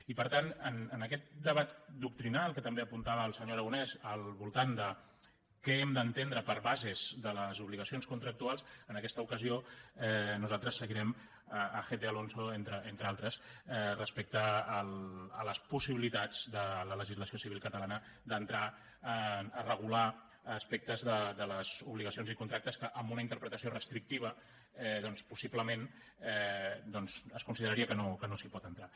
i per tant en aquest debat doctrinal que també apuntava el senyor aragonès al voltant de què hem d’entendre per bases de les obligacions contractuals en aquesta ocasió nosaltres seguirem gete alonso entre altres respecte a les possibilitats de la legislació civil catalana d’entrar a regular aspectes de les obligacions i contractes que amb una interpretació restrictiva doncs possiblement es consideraria que no s’hi pot entrar